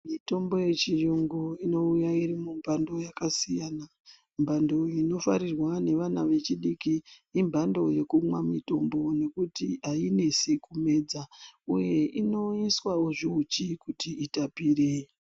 Mitombo yechiyungu inouya iri mumhando yakasiyana. Mhando inofarirwa nevana vechidiki imhando yekumwa mitombo nekuti hainesi kumedza, uye inoiswavo zvihuchi kuti itapire.